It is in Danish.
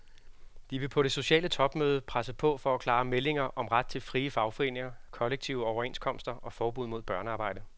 De vil på det sociale topmøde presse på for klare meldinger om ret til frie fagforeninger, kollektive overenskomster og forbud mod børnearbejde.